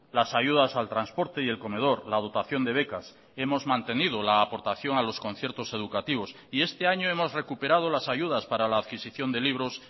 las ayudas al transporte y el comedor la dotación de becas hemos mantenido la aportación a los conciertos educativos y este año hemos recuperado las ayudas para la adquisición de libros